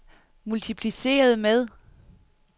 multipliceret med